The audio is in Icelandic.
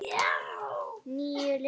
Níu lyklar.